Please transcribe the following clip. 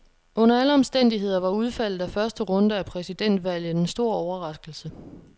Under alle omstændigheder var udfaldet af første runde af præsidentvalget en stor overraskelse.